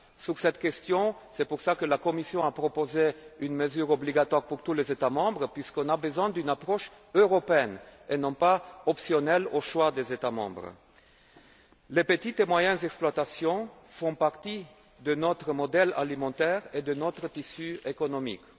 Concernant cette question, la Commission a proposé une mesure obligatoire pour tous les États membres puisque nous avons besoin d'une approche européenne et non pas optionnelle au choix des États membres. Les petites et moyennes exploitations font partie de notre modèle alimentaire et de notre tissu économique.